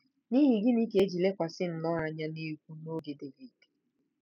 N’ihi gịnị ka e ji lekwasị nnọọ anya n’egwú n’oge Devid?